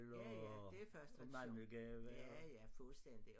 Ja ja det er først tradition ja ja fuldstændig